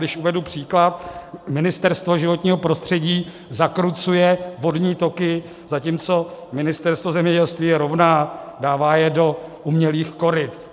Když uvedu příklad, Ministerstvo životního prostředí zakrucuje vodní toky, zatímco Ministerstvo zemědělství je rovná, dává je do umělých koryt.